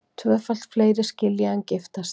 Tvöfalt fleiri skilja en giftast